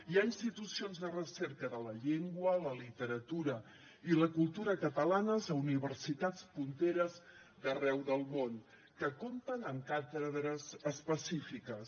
hi ha institucions de recerca de la llengua la literatura i la cultura catalana a universitats punteres d’arreu del món que compten amb càtedres específiques